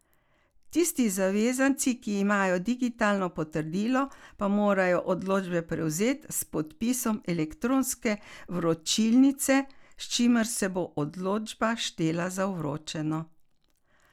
Tisti zavezanci, ki imajo digitalno potrdilo, pa morajo odločbe prevzeti s podpisom elektronske vročilnice, s čimer se bo odločba štela za vročeno.